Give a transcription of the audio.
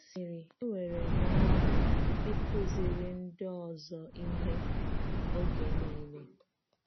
Ọ sịrị: “Enwere m ọṅụ ịkụziri ndị ọzọ ihe oge niile.”